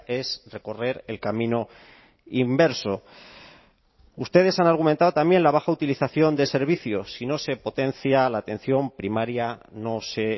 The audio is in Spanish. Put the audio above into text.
es recorrer el camino inverso ustedes han argumentado también la baja utilización de servicios si no se potencia la atención primaria no se